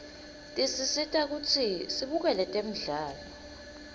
tisisita kutsi sibukele temdlalo